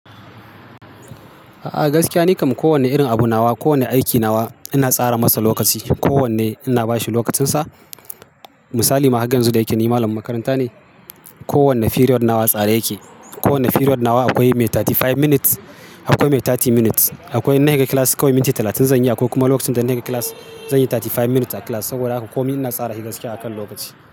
A'a, gaskiya nikam kowane irin abu nawa, kowane aiki nawa ina tsara masa lokaci. Ko wanne ina bashi lokacinsa. Misali ma haga yanzu da yake ni malamin makaranta ne. Ko wanne period nawa a tsare yake. Ko wanne period nawa akwai mai thirty five minutes, akwai mai thirty minutes. Akwai in higa class kawai minti talatin zan yi, akwai kuma lokacin da in na higa class zan yi thirty five minutes a class. Saboda haka komi ina tsara hi gaskiya akan lokaci.